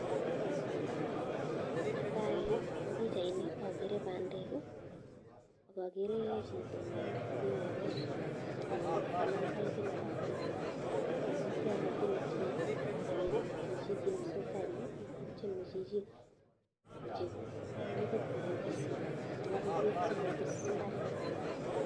Netaii eng pichait akeree pandek akakeree chitoo nee kenguruch ako kanam paipit ab peek apwatii kiit nee tiemee kwaii chichii kiit nee tesetaii inyuu kotieme chichii kochop paipit neibuu peek soo kopis imbaret